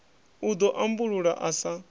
u ḓo ambulula a sa